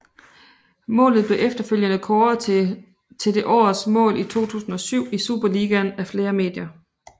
Målet blev efterfølgende kåret til det årets mål 2007 i Superligaen af flere medier